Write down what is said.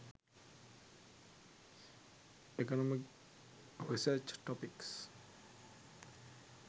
economic research topics